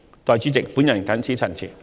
代理主席，我謹此陳辭。